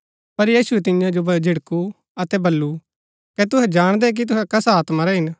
पर यीशुऐ तियां जो झिड़कु अतै वल्‍लु कै तुहै जाणदै कि तुहै कसा आत्मा रै हिन